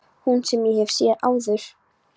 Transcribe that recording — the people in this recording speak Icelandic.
Hús sem ég hef séð áður.